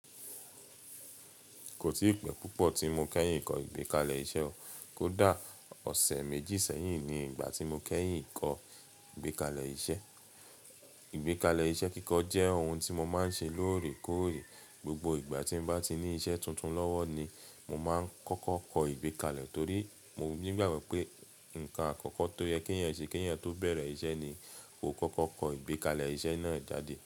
Kò tìí pẹ́ púpọ̀ tí mo kẹ́yìn kọ ìgbékalẹ̀ iṣẹ́ o. Kódà ọ̀sẹ̀ méjì sẹ́yìn ni ìgbà tí mo kẹ́yìn ń kọ ìgbékalẹ̀ iṣẹ́. Ìgbékalẹ̀ iṣẹ́ kíkọ jẹ́ ohun tí mo máa ń ṣe lóòrèkóòrè. Gbogbo ìgbà tí n bá ti ní iṣẹ́ tuntun lọ́wọ́ ni mo máa ń kọ́kọ́ kọ ìgbékalẹ̀ torí mo ní gbàgbọ́ pé nǹkan àkọ́kọ́ tó yẹ kí èèyàn ṣe kẹ́yìn tó bẹ̀rẹ̀ iṣẹ́ ni kó kọ́kọ́ kọ ìgbékalẹ̀ iṣẹ́ náà jáde.